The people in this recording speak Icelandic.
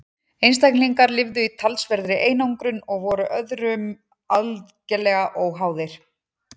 einstaklingarnir lifðu í talsverðri einangrun og voru öðrum algerlega óháðir